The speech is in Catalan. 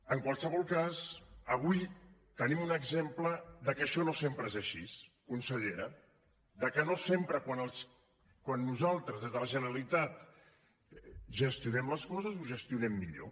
en qualsevol cas avui tenim un exemple de que això no sempre és així consellera de que no sempre quan nosaltres des de la generalitat gestionem les coses ho gestionem millor